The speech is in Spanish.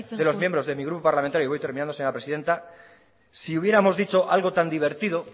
de los miembros de mi grupo parlamentario matute amaitzen joan voy terminando señora presidenta si hubiéramos dicho algo tan divertido